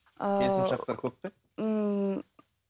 ыыы келісімшарттар көп пе ммм